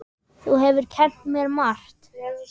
Þú hefur kennt mér margt.